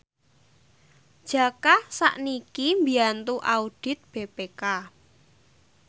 Jaka sakniki mbiyantu audit BPK